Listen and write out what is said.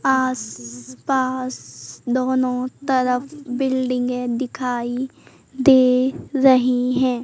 आस पास दोनों तरफ बिल्डिंगे दिखाई दे रही हैं।